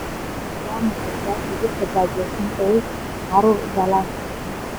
waa maxay sababta dadka gaajaysan ay caruur u dhalaan